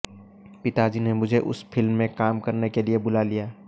पिताजी ने मुझे उस फिल्म में काम करने के लिए बुला लिया